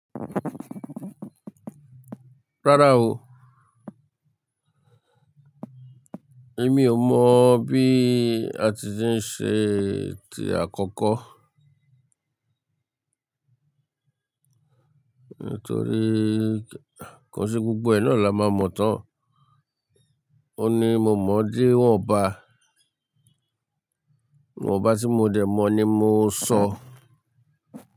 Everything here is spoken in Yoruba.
Rárá o. Èmi ò mọ̀ bí a ti ṣe ń ṣe tí àkọ́kọ́. Nítorí ko se gbogbo ẹ̀ náà la máa mọ̀ tán. O ní mo mọ̀ dẹ̀ wọ́n bá, iwọ́n bá tí mo dẹ̀ mọ̀ ni mo sọ.